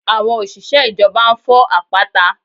Àwọn òṣìṣẹ́ ìjọba ń fọ́ àpáta